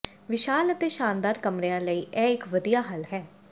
ਵਿਸ਼ਾਲ ਅਤੇ ਸ਼ਾਨਦਾਰ ਕਮਰਿਆਂ ਲਈ ਇਹ ਇੱਕ ਵਧੀਆ ਹੱਲ ਹੈ